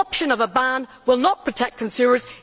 The option of a ban will not protect consumers.